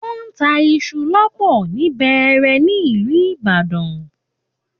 Wọ́n ń tá iṣu lọ́pọ̀ ni Bẹẹrẹ ní ìlú Ibadan